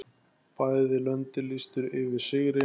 Bæði löndin lýstu yfir sigri.